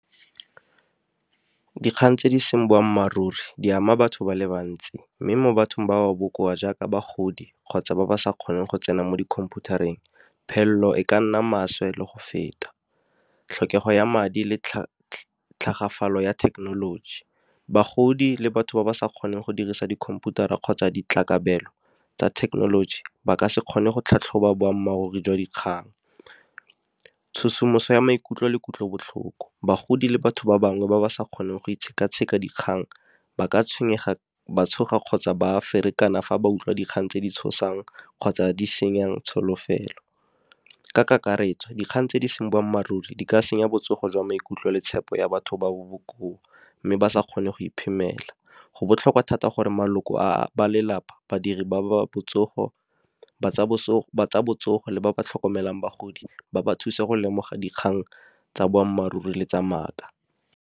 Dikgang tse di seng boammaaruri, di ama batho ba le bantsi. Mme mo bathong ba ba bokoa jaaka bagodi, kgotsa ba ba sa kgoneng go tsena mo di khomphutareng. Phelelo e ka nna maswe le go feta, tlhokego ya madi le tlhagafalo ya thekenoloji. Bagodi le batho ba ba sa kgoneng go dirisa dikhomputara kgotsa ditlakabelo tsa thekenoloji, ba ka se kgone go tlhatlhoba boammaaruri jwa dikgang. Tshosomoso ya maikutlo le kutlobotlhoko, bagodi le batho ba bangwe ba ba sa kgoneng go itsheka-tsheka dikgang, ba ka tshwenyega ba tshoga kgotsa ba ferekana fa ba utlwa dikgang tse di tshosang kgotsa di senyang tsholofelo. Ka kakaretso dikgang tse di seng boammaaruri di ka senya botsogo jwa maikutlo le tshepo ya batho ba ba bokoa, mme ba sa kgone go iphemela. Go botlhokwa thata gore maloko a ba lelapa badiri ba tsa botsogo le ba ba tlhokomelang bagodi ba ba thuse go lemoga dikgang tsa boammaaruri le tsa maaka.